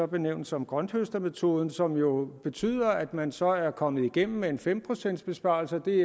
benævner som grønthøstermetoden som jo betyder at man så er kommet igennem med en fem procents besparelse og det er